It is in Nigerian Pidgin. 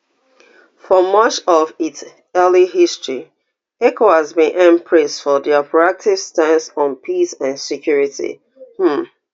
for much of its early history ecowas bin earn praise for dia proactive stance on peace and security um